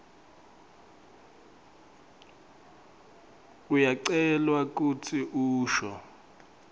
uyacelwa kutsi usho